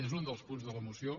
és un dels punts de la moció